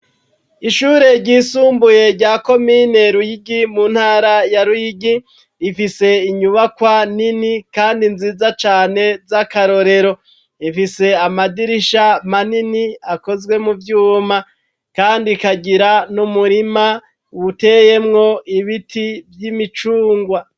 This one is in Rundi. Ishure ryisumbuye rya komine ruyigi ,mu ntara ya ruyigi, ifise inyubakwa nini kandi nziza cane z'akarorero, ifise amadirisha manini akozwe mu vyuma ,kandi ikagira n'umurima buteyemwo ibiti vy'imicungwa.